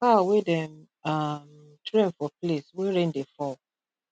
cow wey dem um train for place wey rain dey fall